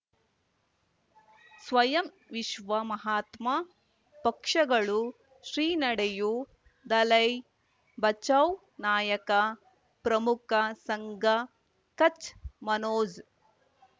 ಸ್ವಯಂ ವಿಶ್ವ ಮಹಾತ್ಮ ಪಕ್ಷಗಳು ಶ್ರೀ ನಡೆಯೂ ದಲೈ ಬಚೌ ನಾಯಕ ಪ್ರಮುಖ ಸಂಘ ಕಚ್ ಮನೋಜ್